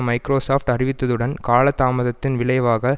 Microsoft அறிவித்ததுடன் காலதாமத்தின் விளைவாக